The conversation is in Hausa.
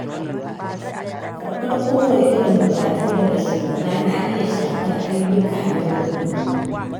Karɓar kowanne irin buƙatu daga shugaba na iya shafar ayyukana na yau da kullum.